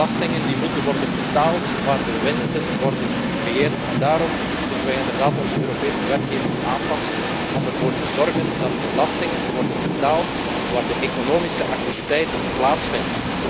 Belastingen moeten worden betaald waar de winsten worden gecreëerd. Daarom moeten wij inderdaad onze Europese wetgeving aanpassen, om ervoor te zorgen dat belastingen worden betaald waar de economische activiteit plaatsvindt.